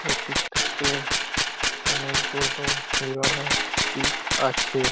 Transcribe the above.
এই পিক -টাতে অনেক বড় হিরনের পিক আছে।